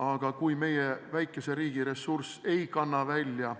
Aga kui meie väikese riigi ressurss ei kanna välja